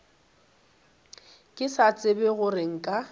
ke sa tsebe gore nka